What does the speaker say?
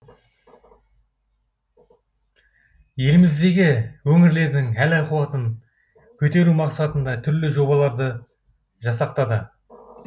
еліміздегі өңірлердің әл ахуатын көтеру мақсатында түрлі жобаларды жасақтады